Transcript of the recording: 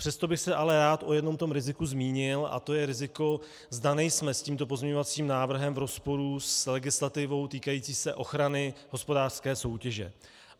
Přesto bych se ale rád o jednom tom riziku zmínil a to je riziko, zda nejsme s tímto pozměňovacím návrhem v rozporu s legislativou týkající se ochrany hospodářské soutěže.